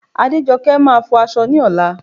Adéjọkẹ́ máa fọ aṣọ ní ọ̀la